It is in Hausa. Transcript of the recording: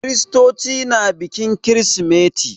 Kiristoci na bikin kirsimeti.